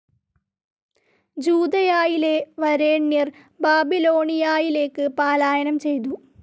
ജൂദയായിലെ വരേണ്യർ ബാബിലോണിയായിലേക്ക് പാലായനം ചെയ്തു.